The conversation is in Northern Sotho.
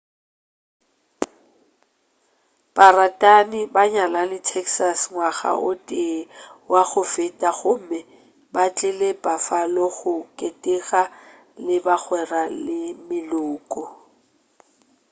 baratani ba nyalane texas ngwaga o tee wa go feta gomme ba tlile buffalo go keteka le bagwera le meloko